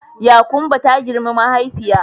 Yakumbo ta girmi mahaifiya